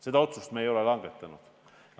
Seda otsust me langetanud ei ole.